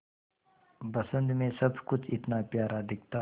बसंत मे सब कुछ इतना प्यारा दिखता है